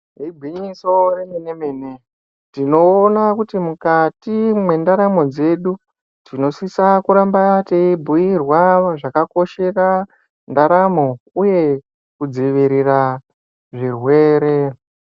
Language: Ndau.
Igwinyiso rememene tinoona kuti mukati mwendaramo dzedu tinosise kuramba teibhuyirwa zvakakoshera ndaramo uye kudzivirira zvirwere.